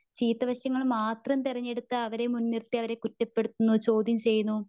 ചീത്തവശങ്ങൾ മാത്രം തിരഞ്ഞെടുത്തു അവരെ മുൻ നിർത്തി അവരെ കുറ്റപ്പെടുത്തുന്നു, ചോദ്ത്യം ചെയ്യുന്നു .